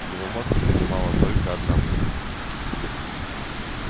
его мозг занимала только одна мысль